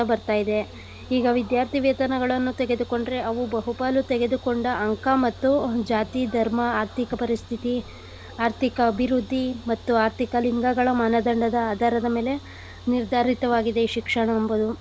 ಬರ್ತಾ ಇದೆ ಈಗ ವಿದ್ಯಾರ್ಥಿವೇತನಗಳನ್ನು ತೆಗೆದುಕೊಂಡ್ರೆ ಅವು ಬಹುಪಾಲು ತೆಗೆದುಕೊಂಡ ಅಂಕ ಮತ್ತು ಜಾತಿ, ಧರ್ಮ, ಆರ್ಥಿಕ ಪರಿಸ್ಥಿತಿ, ಆರ್ಥಿಕ ಅಭಿವೃದ್ಧಿ ಮತ್ತು ಆರ್ಥಿಕ ಲಿಂಗಗಳ ಮನದಂಡದ ಆಧಾರದ ಮೇಲೆ ನಿರ್ಧಾರಿತವಾಗಿದೆ ಶಿಕ್ಷಣ ಎಂಬುದು.